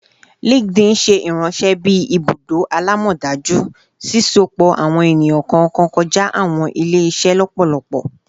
LinkedIn ṣe iranṣẹ bi ibudo alamọdaju, sisopọ awọn eniyan kọọkan kọja awọn ile-iṣẹ lọpọlọpọ